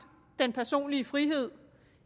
den personlige frihed